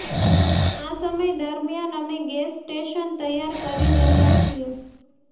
આ સમય દરમિયાન અમે ગેસ સ્ટેશન તૈયાર કરી રહ્યા છીએ